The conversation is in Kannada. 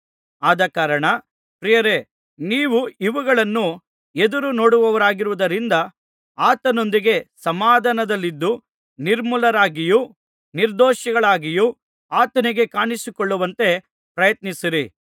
ಆದಕಾರಣ ಪ್ರಿಯರೇ ನೀವು ಇವುಗಳನ್ನು ಎದುರುನೋಡುವವರಾಗಿರುವುದರಿಂದ ಆತನೊಂದಿಗೆ ಸಮಾಧಾನದಲ್ಲಿದ್ದು ನಿರ್ಮಲರಾಗಿಯೂ ನಿರ್ದೋಷಿಗಳಾಗಿಯೂ ಆತನಿಗೆ ಕಾಣಿಸಿಕೊಳ್ಳುವಂತೆ ಪ್ರಯತ್ನಿಸಿರಿ